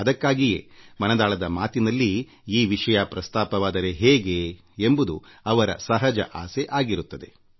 ಅದಕ್ಕಾಗಿಯೇ ಮನದಾಳದ ಮಾತಿನಲ್ಲಿ ಈ ವಿಷಯ ಪ್ರಸ್ತಾಪವಾದರೆ ಹೇಗೆ ಎಂಬುದು ಅವರ ಸಹಜ ಆಸೆ ಆಗಿರುತ್ತದೆ